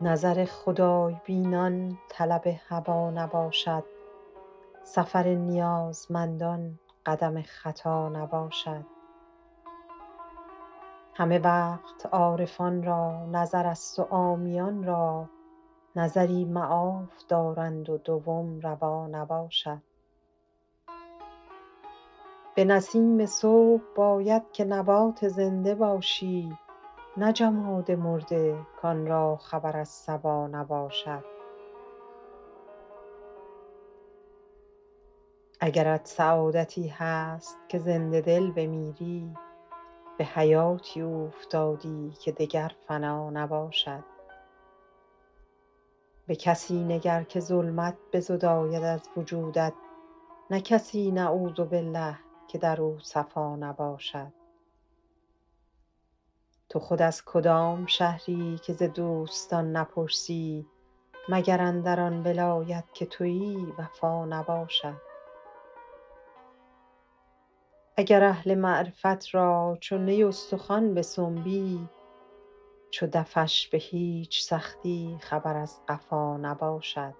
نظر خدای بینان طلب هوا نباشد سفر نیازمندان قدم خطا نباشد همه وقت عارفان را نظرست و عامیان را نظری معاف دارند و دوم روا نباشد به نسیم صبح باید که نبات زنده باشی نه جماد مرده کان را خبر از صبا نباشد اگرت سعادتی هست که زنده دل بمیری به حیاتی اوفتادی که دگر فنا نباشد به کسی نگر که ظلمت بزداید از وجودت نه کسی نعوذبالله که در او صفا نباشد تو خود از کدام شهری که ز دوستان نپرسی مگر اندر آن ولایت که تویی وفا نباشد اگر اهل معرفت را چو نی استخوان بسنبی چو دفش به هیچ سختی خبر از قفا نباشد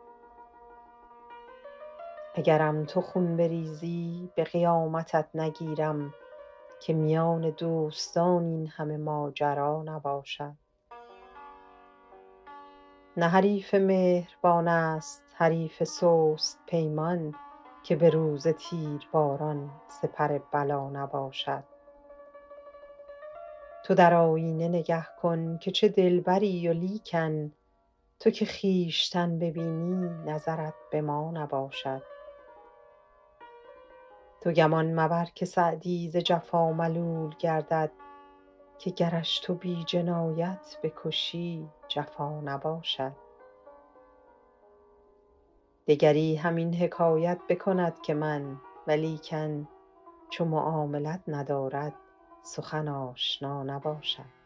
اگرم تو خون بریزی به قیامتت نگیرم که میان دوستان این همه ماجرا نباشد نه حریف مهربان ست حریف سست پیمان که به روز تیرباران سپر بلا نباشد تو در آینه نگه کن که چه دلبری ولیکن تو که خویشتن ببینی نظرت به ما نباشد تو گمان مبر که سعدی ز جفا ملول گردد که گرش تو بی جنایت بکشی جفا نباشد دگری همین حکایت بکند که من ولیکن چو معاملت ندارد سخن آشنا نباشد